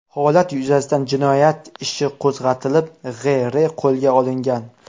Holat yuzasidan jinoyat ishi qo‘zg‘atilib, G‘.R.qo‘lga olingan.